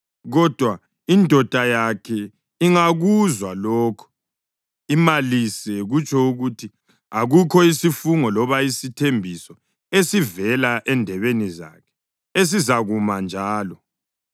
Kodwa indoda yakhe ingakuzwa lokho imalise, kutsho ukuthi akukho isifungo loba isithembiso esivela endebeni zakhe esizakuma njalo. Indoda yakhe isikwalile lokho, ngakho uThixo uzamkhulula.